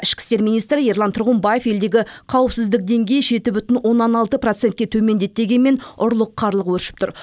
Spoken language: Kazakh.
ішкі істер министрі ерлан тұрғымбаев елдегі қауіпсіздік деңгейі жеті бүтін оннан алты процентке төмендеді дегенмен ұрлық қарлық өршіп тұр